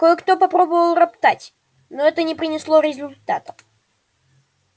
кое-кто попробовал роптать но это не принесло результатов